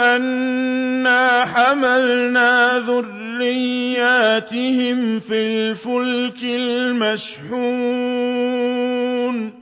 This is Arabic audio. أَنَّا حَمَلْنَا ذُرِّيَّتَهُمْ فِي الْفُلْكِ الْمَشْحُونِ